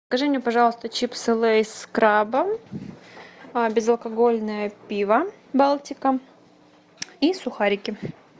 закажи мне пожалуйста чипсы лейс с крабом безалкогольное пиво балтика и сухарики